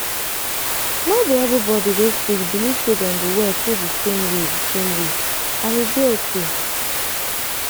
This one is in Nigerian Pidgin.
no be every body wey sick believe say dem go well through di same way di same way and e dey okay.